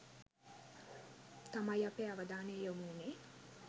තමයි අපේ අවධානය යොමුවුනේ